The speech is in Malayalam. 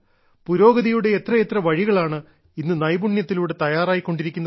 പുരോഗതിയുടെ എത്രയെത്ര വഴികളാണ് ഇന്ന് നൈപുണ്യത്തിലൂടെ തയ്യാറായി കൊണ്ടിരിക്കുന്നത്